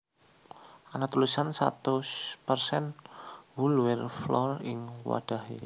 Ana tulisan satus persen whole wheat flour ing wadhahé